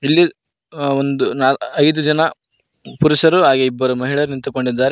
ಇಲ್ಲಿ ಅ ಒಂದ್ ನಾಲ್ ಐದು ಜನ ಪುರುಷರು ಹಾಗೂ ಇಬ್ಬರು ಮಹಿಳೆಯರು ನಿಂತಿಕೊಂಡಿದ್ದಾರೆ.